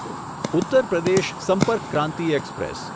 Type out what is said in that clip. Uttar Pradesh Sampark Kranti express